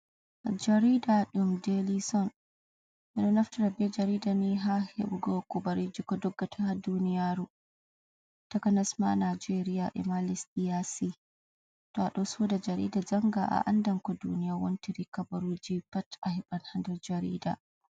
Jarida ɗum daly son ɓeɗo naftira jarida ni ha hebugo kubaruji ko doggata ha duniyaru, takanas ma nijeria ema lesdi yasi, to aɗo soda jarida janga a anda ko duniya wontiri kabarujib pat a heban ha ndar jarida.